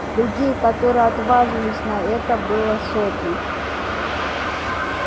людей которые отваживались на это было сотни